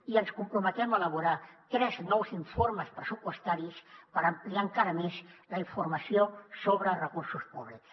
i ens comprometem a elaborar tres nous informes pressupostaris per ampliar encara més la informació sobre recursos públics